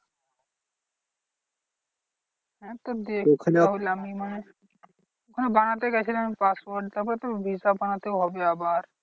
হ্যাঁ তো দেখি তাহলে আমি মানে হ্যাঁ বানাতে গেছিলাম passport তারপরে তো visa বানাতে হবে আবার।